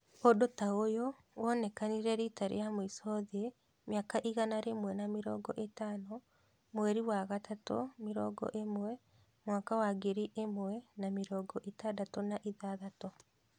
ũndu ta ũyu wonekanire rita ria mwiso thĩĩ mĩaka igana rĩmwe na mĩrongo itano, mweri wa Kathatu mĩrongo ĩmwe ,mwaka wa ngiri ĩmwe na mĩrongo ĩtandatu na ithathatu